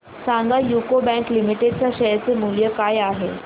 सांगा UCO bank limited च्या share चे मूल्य काय आहे